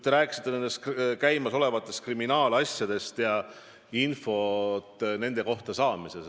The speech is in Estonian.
Te rääkisite ka käimasolevast kriminaalasjast ja infost selle kohta.